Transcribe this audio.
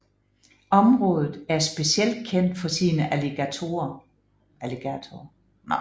Området er specielt kendt for sine alligatorer